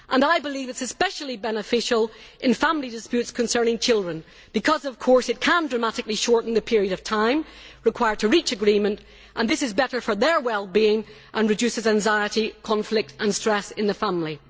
and I believe it is especially beneficial in family disputes concerning children, because it can dramatically shorten the period of time required to reach agreement, and this is better for children's wellbeing and reduces anxiety, conflict and stress in the family.